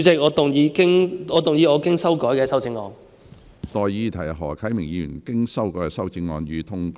我現在向各位提出的待議議題是：何啟明議員經修改的修正案，予以通過。